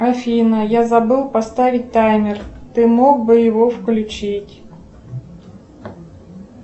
афина я забыл поставить таймер ты мог бы его включить